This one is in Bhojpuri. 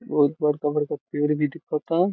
बहुत बडका बडका पेड भी दिखता |